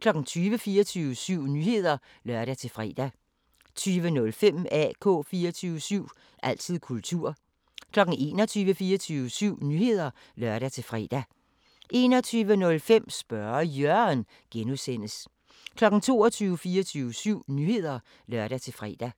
20:00: 24syv Nyheder (lør-fre) 20:05: AK 24syv – altid kultur 21:00: 24syv Nyheder (lør-fre) 21:05: Spørge Jørgen (G) 22:00: 24syv Nyheder (lør-fre)